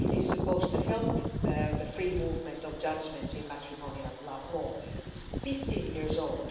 It is supposed to help the free movement of judgments in matrimonial law, but it's 15 years old.